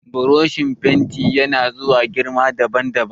Burushin fenti ya na zuwa ne girma daban daban